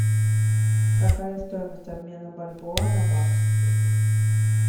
какая стоимость обмена бальбоа на бакс